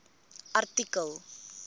artikel